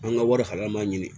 An ka wari kalama ɲini